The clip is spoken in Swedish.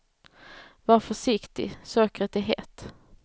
Var försiktig, sockret är hett.